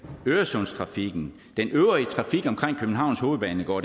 øresundstrafikken den øvrige trafik omkring københavns hovedbanegård